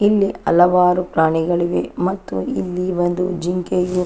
ಇಲ್ಲಿ ಹಲವಾರು ಪ್ರಾಣಿಗಳಿವೆ ಮತ್ತು ಇಲ್ಲಿ ಒಂದು ಜಿಂಕೆಯು --